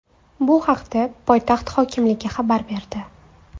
Bu haqda poytaxt hokimligi xabar berdi .